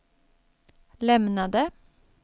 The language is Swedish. lämnade